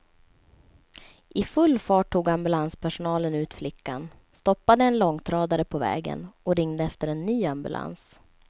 I full fart tog ambulanspersonalen ut flickan, stoppade en långtradare på vägen och ringde efter en ny ambulans.